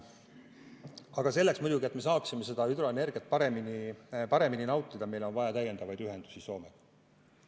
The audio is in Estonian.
Aga selleks, et me saaksime hüdroenergiat paremini nautida, on meil vaja täiendavaid ühendusi Soomega.